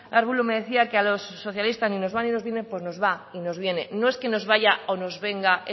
arbulo me decía que a los socialistas ni nos va ni nos viene pues no va y nos viene no es que nos vaya o nos venga